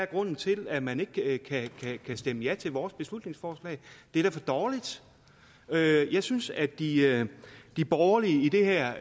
grunden til at man ikke kan stemme ja til vores beslutningsforslag det er da for dårligt jeg synes at de at de borgerlige i det her